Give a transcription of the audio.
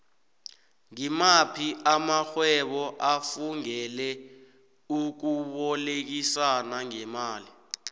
ngimaphi amaxhhwebo afungele ukubolekisano ngemali